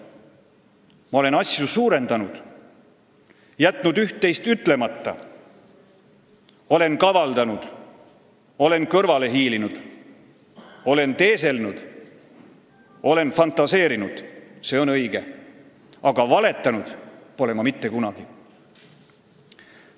Ma olen asju suurendanud, jätnud üht-teist ütlemata, olen kavaldanud, olen kõrvale hiilinud, olen teeselnud, olen fantaseerinud – see on õige, aga valetanud pole ma mitte kunagi.